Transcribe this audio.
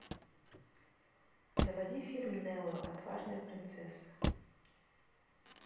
заводи фильм нелла отважная принцесса